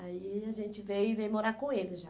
Aí a gente veio e veio morar com eles já.